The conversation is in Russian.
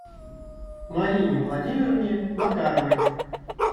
марине владимировне макаровой